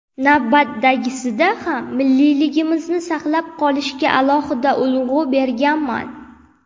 Navbatdagisida ham milliyligimizni saqlab qolishga alohida urg‘u berganman”.